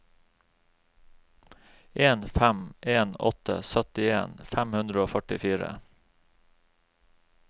en fem en åtte syttien fem hundre og førtifire